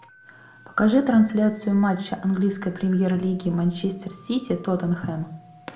покажи трансляцию матча английской премьер лиги манчестер сити тоттенхэм